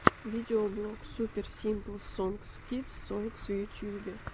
видеоблог супер симпл сонгс кидс сонгс в ютубе